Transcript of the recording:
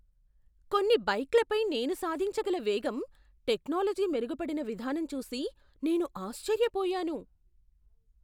కొన్ని బైక్లపై నేను సాధించగల వేగం, టెక్నాలజీ మెరుగుపడిన విధానం చూసి నేను ఆశ్చర్యపోయాను.